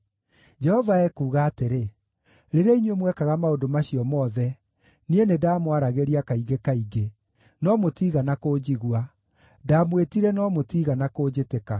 Jehova ekuuga atĩrĩ: Rĩrĩa inyuĩ mwekaga maũndũ macio mothe, niĩ nĩndamwaragĩria kaingĩ kaingĩ, no mũtiigana kũnjigua; ndamwĩtire no mũtiigana kũnjĩtĩka.